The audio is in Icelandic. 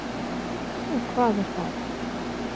Og hvað er það?